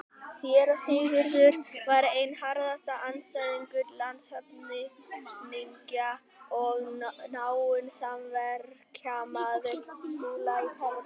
Séra Sigurður var einn harðasti andstæðingur landshöfðingja og náinn samverkamaður Skúla í tæpa tvo áratugi.